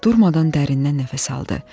Durmadan dərindən nəfəs aldı.